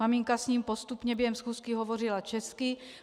Maminka s ním postupně během schůzky hovořila česky.